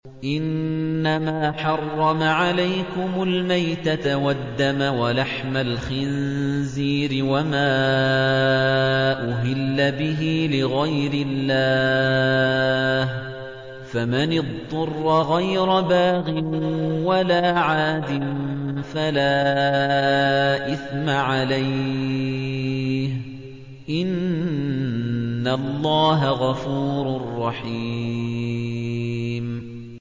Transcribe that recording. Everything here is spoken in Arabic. إِنَّمَا حَرَّمَ عَلَيْكُمُ الْمَيْتَةَ وَالدَّمَ وَلَحْمَ الْخِنزِيرِ وَمَا أُهِلَّ بِهِ لِغَيْرِ اللَّهِ ۖ فَمَنِ اضْطُرَّ غَيْرَ بَاغٍ وَلَا عَادٍ فَلَا إِثْمَ عَلَيْهِ ۚ إِنَّ اللَّهَ غَفُورٌ رَّحِيمٌ